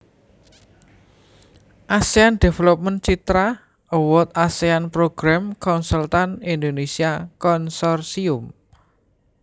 Asean Development Citra Award Asean Programme Consultant Indonesia Consortium